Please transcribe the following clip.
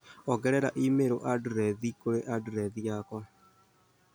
ongerera i-mīrū andirethi kũrĩ andirethi yakwa